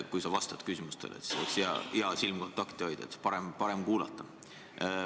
Kui sa vastad küsimustele, siis oleks hea silmkontakti hoida, nii on parem kuulata.